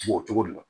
O cogo de la